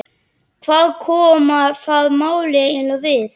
Hvað koma það málinu eiginlega við?